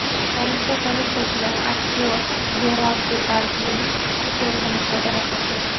Parijda politsiyachilar aktyor Jerar Depardyening skuterini musodara qildi.